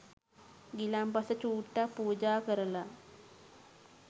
ගිලන්පස චූට්ටක් පූජා කරලා